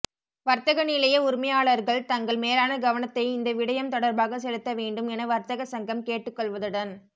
வர்த்தக நிலைய உரிமையாளர்கள் தங்கள் மேலான கவனத்தை இந்த விடயம் தொடர்பாக செலுத்த வேண்டும் என வர்த்தக சங்கம் கேட்டுக்கொள்வதுடன்